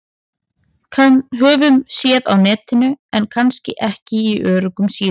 Höfum séð á Netinu- en kannski ekki á öruggum síðum.